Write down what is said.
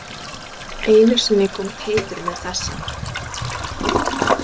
Einu sinni kom Teitur með þessa: